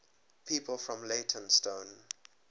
people from leytonstone